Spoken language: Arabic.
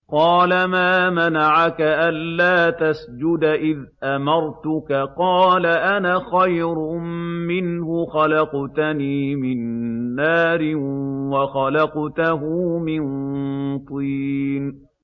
قَالَ مَا مَنَعَكَ أَلَّا تَسْجُدَ إِذْ أَمَرْتُكَ ۖ قَالَ أَنَا خَيْرٌ مِّنْهُ خَلَقْتَنِي مِن نَّارٍ وَخَلَقْتَهُ مِن طِينٍ